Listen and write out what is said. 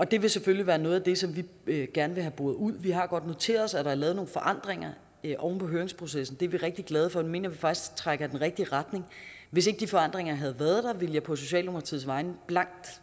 det vil selvfølgelig være noget af det som vi vi gerne vil have boret ud vi har noteret os at der er lavet nogle forandringer oven på høringsprocessen det er vi rigtig glade for og det mener vi faktisk trækker i den rigtige retning hvis ikke de forandringer havde været der ville jeg på socialdemokratiets vegne